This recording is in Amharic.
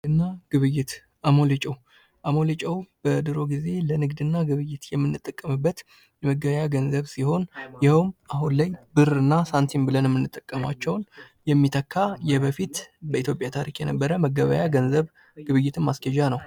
ንግድና ግብይት አሞሌ ጨው፤ አሞሌ ጨው በድሮ ጊዜ ለንግድና ግብይት የምንጠቀመበት የመገበያያ ገንዘብ ሲሆን ይኸውም አሁን ላይ ብርና ሳንቲም ብለን ምንጠቀማቸውን የሚተካ የበፊት በኢትዮጵያ ታሪክ የነበረ መገበያ ገንዘብ ግብይትን ማስኬጃ ነው።